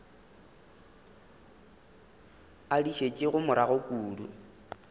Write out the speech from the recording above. a di šetšego morago kudu